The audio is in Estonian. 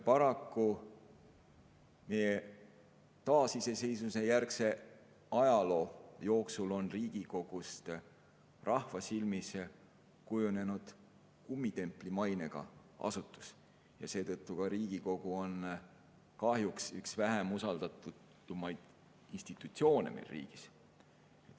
Paraku on meie taasiseseisvumisjärgse aja jooksul Riigikogust rahva silmis kujunenud kummitempli mainega asutus ja seetõttu on Riigikogu kahjuks ka üks kõige vähem usaldatud institutsioone meil riigis.